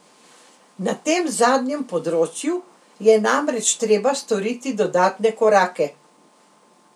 Na tem zadnjem področju je namreč treba storiti dodatne korake.